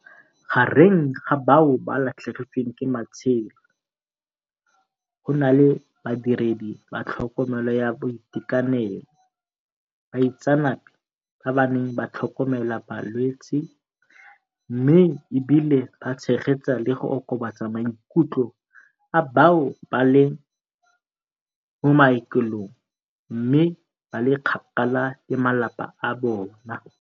Gareng ga bao ba latlhegetsweng ke matshelo go na le badiredi ba tlhokomelo ya boitekanelo, baitseanape ba ba neng ba tlhokomela balwetse, mme e bile ba tshegetsa le go okobatsa maikutlo a bao ba leng mo maokelong mme ba le kgakala le bamalapa a bona.